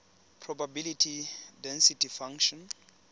probability density function